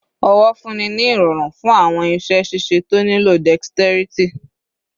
owo funni ni irọrun fun awọn iṣẹ ṣiṣe to nilo dexterity